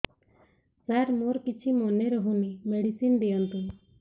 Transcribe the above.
ସାର ମୋର କିଛି ମନେ ରହୁନି ମେଡିସିନ ଦିଅନ୍ତୁ